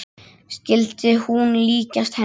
Skyldi hún líkjast henni?